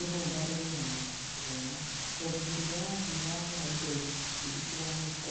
Ĩĩ no ndarĩrie na njĩra ĩno, tondũ hĩndĩ ĩrĩa wathiĩ wagũra indo nyingĩ itiganĩte,